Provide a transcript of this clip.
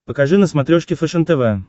покажи на смотрешке фэшен тв